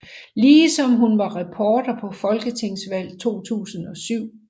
Ligesom hun var reporter på folketingsvalg 2007